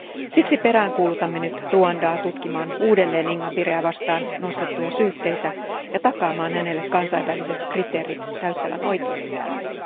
Siksi peräänkuulutamme nyt Ruandaa tutkimaan uudelleen Ingabireä vastaan nostettuja syytteitä ja takaamaan hänelle kansainväliset kriteerit täyttävän oikeudenkäynnin.